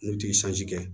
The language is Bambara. N'u ti kɛ